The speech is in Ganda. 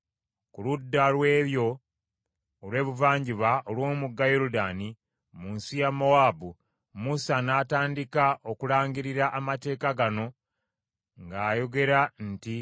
Ku ludda lw’eyo olw’ebuvanjuba olw’omugga Yoludaani, mu nsi ya Mowaabu, Musa n’atandika okulangirira amateeka gano ng’ayogera nti: